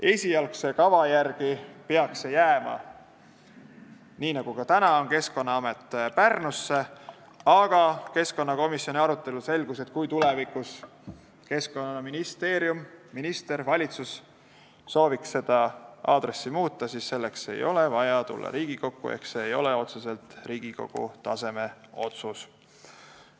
Esialgse kava järgi peaks Keskkonnaamet jääma, nii nagu ka täna on, Pärnusse, aga keskkonnakomisjoni arutelus selgus, et kui tulevikus Keskkonnaministeerium, minister või valitsus sooviks seda aadressi muuta, siis selleks ei ole vaja tulla Riigikokku ehk see ei ole Riigikogu taseme otsus.